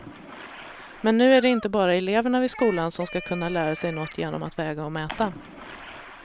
Men nu är det inte bara eleverna vid skolan som ska kunna lära sig något genom att väga och mäta.